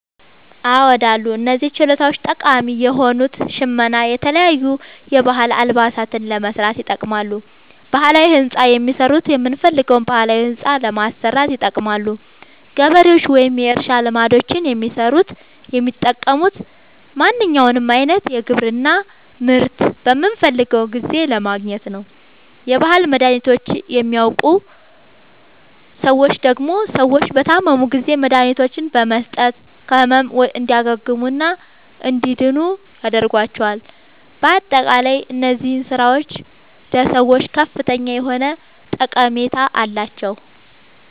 አዎድ አሉ። እነዚህ ችሎታዎች ጠቃሚ የሆኑት ሸመና የተለያዩ የባህል አልባሳትን ለመስራት ይጠቅማሉ። ባህላዊ ህንፃ የሚሠሩት የምንፈልገዉን ባህላዊ ህንፃ ለማሠራት ይጠቅማሉ። ገበሬዎች ወይም የእርሻ ልማዶችን የሚሠሩት የሚጠቅሙት ማንኛዉንም አይነት የግብርና ምርት በምንፈልገዉ ጊዜ ለማግኘት ነዉ። የባህል መድሀኒቶችን የሚያዉቁ ሠዎች ደግሞ ሰዎች በታመሙ ጊዜ መድሀኒቶችን በመስጠት ከህመሙ እንዲያግሙና እንዲድኑ ያደርጓቸዋል። በአጠቃላይ እነዚህ ስራዎች ለሰዎች ከፍተኛ የሆነ ጠቀሜታ አላቸዉ።